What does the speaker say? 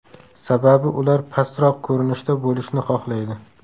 Sababi ular pastroq ko‘rinishda bo‘lishni xohlaydi.